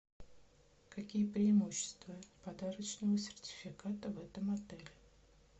какие преимущества подарочного сертификата в этом отеле